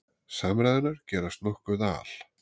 Samræðurnar gerast nokkuð al